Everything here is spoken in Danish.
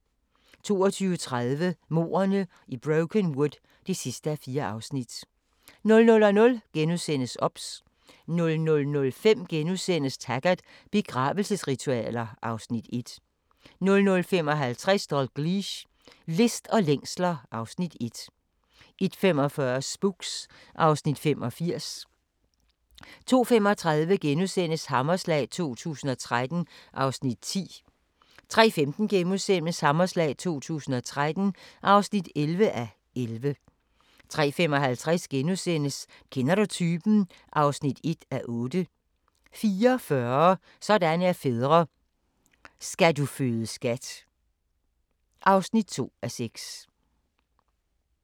22:30: Mordene i Brokenwood (4:4) 00:00: OBS * 00:05: Taggart: Begravelsesritualer (Afs. 1) 00:55: Dalgliesh: List og længsler (Afs. 1) 01:45: Spooks (Afs. 85) 02:35: Hammerslag 2013 (10:11)* 03:15: Hammerslag 2013 (11:11)* 03:55: Kender du typen? (1:8)* 04:40: Sådan er fædre - Skal du føde skat (2:6)